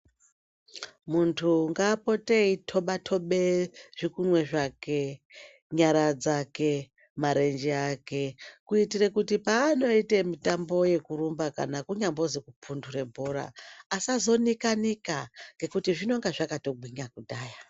Muntu ngaapote eitobatoba zvikunwe zvake nyara dzake marenje ake kuitire kuti paanoite mitambo yekurumba kana kunyambozi kupindure bhora asazonika nika ngekuti zvinenge zvakatogwinya kudhaya.